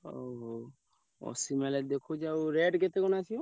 ହଉ ହଉ ଅଶୀ mileage ଦେଖଉଛି ଆଉ rate କେତେ କଣ ଆସିବ?